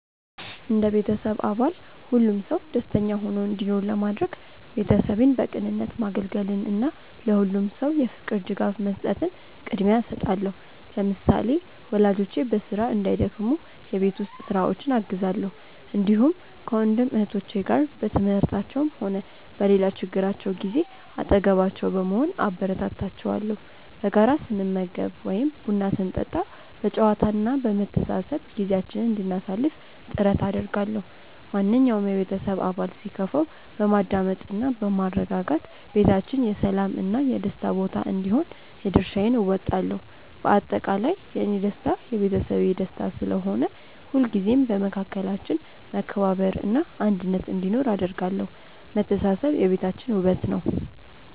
እንደ ቤተሰብ አባል ሁሉም ሰው ደስተኛ ሆኖ እንዲኖር ለማድረግ፣ ቤተሰቤን በቅንነት ማገልገልን እና ለሁሉም ሰው የፍቅር ድጋፍ መስጠትን ቅድሚያ እሰጣለሁ። ለምሳሌ፣ ወላጆቼ በስራ እንዳይደክሙ የቤት ውስጥ ስራዎችን አግዛለሁ፣ እንዲሁም ከወንድም እህቶቼ ጋር በትምህርታቸውም ሆነ በሌላ ችግራቸው ጊዜ አጠገባቸው በመሆን አበረታታቸዋለሁ። በጋራ ስንመገብ ወይም ቡና ስንጠጣ በጨዋታ እና በመተሳሰብ ጊዜያችንን እንድናሳልፍ ጥረት አደርጋለሁ። ማንኛውም የቤተሰብ አባል ሲከፋው በማዳመጥ እና በማረጋጋት ቤታችን የሰላም እና የደስታ ቦታ እንዲሆን የድርሻዬን እወጣለሁ። በአጠቃላይ፣ የእኔ ደስታ የቤተሰቤ ደስታ ስለሆነ፣ ሁልጊዜም በመካከላችን መከባበር እና አንድነት እንዲኖር አደርጋለሁ። መተሳሰብ የቤታችን ውበት ነው።